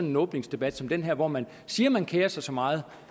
en åbningsdebat som den her hvor man siger at man kerer sig så meget